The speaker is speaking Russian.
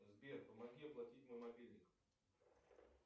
сбер помоги оплатить мой мобильник